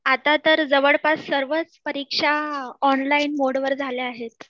आता तर जवळपास सर्वच परीक्षा ऑनलाइन मोडवर झाल्या आहेत